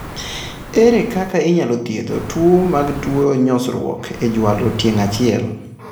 Ere kaka inyalo thiedh tuoche mag tuo nyosruok e jwalo tieng' achiel ?